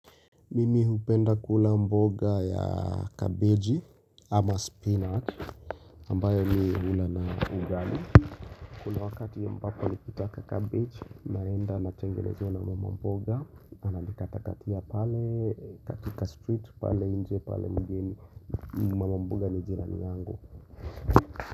Mimi hupenda kula mboga ya kabeji ama spinach ambayo mi hula na ugali Kuna wakati na ambapo nikiitaka cabbage naenda natengenezewa na mama mboga Ananikata katia pale katika street pale nje pale mgeni mboga ni jirani yangu.